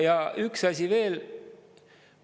Ja üks asi veel.